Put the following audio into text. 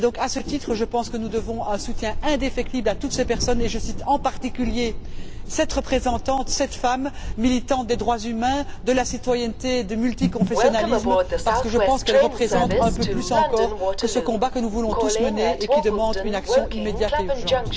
À ce titre, je pense que nous devons un soutien indéfectible à toutes ces personnes, et je cite en particulier cette représentante, cette femme militante des droits humains, de la citoyenneté, du multiconfessionnalisme, parce que je pense qu'elle représente un peu plus encore que ce combat que nous voulons tous mener et qui réclame une action immédiate et urgente.